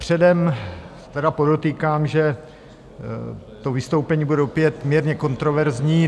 Předem tedy podotýkám, že to vystoupení bude opět mírně kontroverzní.